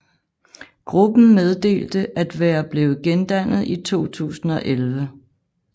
Gruppen meddelte at være blevet gendannet i 2011